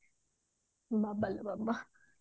ବାବଲୋ ବାବା